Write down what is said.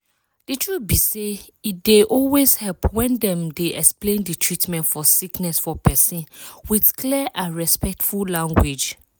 di truth be say e dey always help when dem dey explain di treatment for sickness for persin with clear and respectful language.